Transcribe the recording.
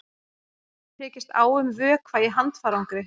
Tekist á um vökva í handfarangri